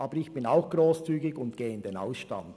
Aber ich bin auch grosszügig und gehe in den Ausstand.